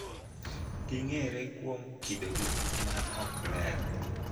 Ging�ere kuom kidogi ma ok ler.